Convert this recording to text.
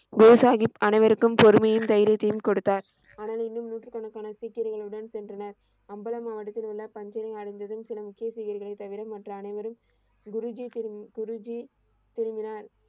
போசாஹீப் அனைவருக்கும் பொறுமையையும் தைரியத்தையும் கொடுத்தார். ஆனால் இன்னும் நூற்று கணக்கான சீக்கியர்களுடன் சென்றனர். அம்பலா மாவட்டத்தில் உள்ள பன்ஜெரி அழிந்ததும் சில சீக்கியர்களை தவிர மற்ற அனைவரும் குருஜி, திரு குருஜி திரும்பினார்.